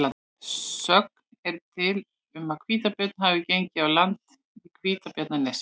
Sögn er til um að hvítabjörn hafi gengið á land í Hvítabjarnarnesi.